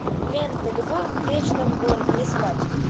лента любовь в вечном городе искать